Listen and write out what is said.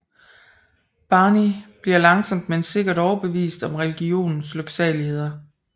Barny bliver langsomt men sikkert overbevist om religionens lyksaligheder